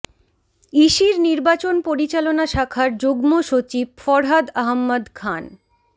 ইসির নির্বাচন পরিচালনা শাখার যুগ্ম সচিব ফরহাদ আহাম্মদ খান